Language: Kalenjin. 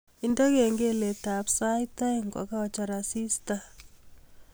Indene kengeletab sait aeng kogachor asista